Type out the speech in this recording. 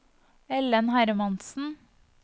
Ellen Hermansen